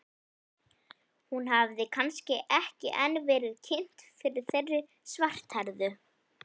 Hún hafði kannski ekki enn verið kynnt fyrir þeirri svarthærðu.